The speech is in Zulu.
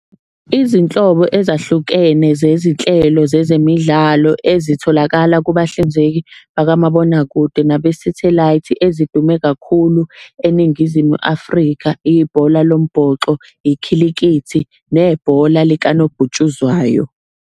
Izinhlobo ezahlukene zezinhlelo zezemidlalo ezitholakala kubahlinzeki bakamabonakude nabesathelayithi, ezidume kakhulu eNingizimu Afrika, ibhola lombhoxo, ikhilikithi, nebhola likanobhutshuzwayo.